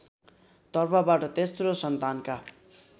तर्फबाट तेस्रो सन्तानका